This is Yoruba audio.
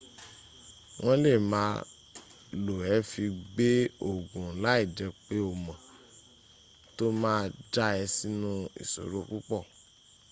won le ma lo e fi gbe oogun lai je pe o mo to ma ja e sinu isoro pupo